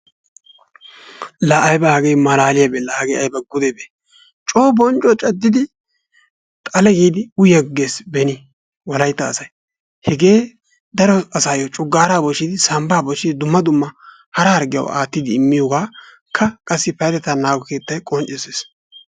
laa ayiba hagee malaaliyaabee! laa hagee ayba gudebee! coo bonccuwaa caddidi xale giidi uyiyaaggees beni wolayitta asayi. hegee daro asaayyo coggaara bochchidi sambbaa bochchidi dumma dumma hara harggiyawu aattidi immiyoogaakka payyatetta naagoy qonccissiis.